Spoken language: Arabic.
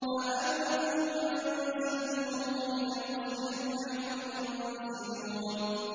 أَأَنتُمْ أَنزَلْتُمُوهُ مِنَ الْمُزْنِ أَمْ نَحْنُ الْمُنزِلُونَ